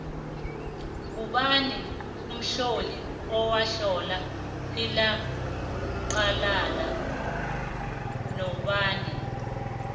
ngubani umtloli owatlola ilaxhwalala nobani